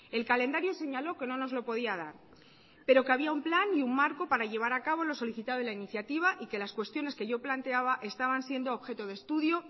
el calendario señaló que no nos lo podía dar pero que había un plan y un marco para llevar a cabo lo solicitado en la iniciativa y que las cuestiones que yo planteaba estaban siendo objeto de estudio